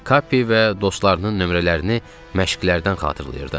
Kappi və dostlarının nömrələrini məşqlərdən xatırlayırdım.